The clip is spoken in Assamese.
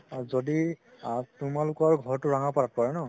যদি আ তোমালোকৰ ঘৰতো ৰাঙাপাৰাত পৰে নে